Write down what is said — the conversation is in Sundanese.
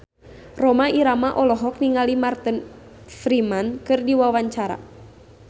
Rhoma Irama olohok ningali Martin Freeman keur diwawancara